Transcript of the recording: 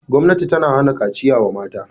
Gwamnati ta hana kaciya wa mata.